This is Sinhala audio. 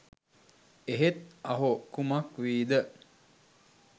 එහෙත් අහෝ කුමක් වීද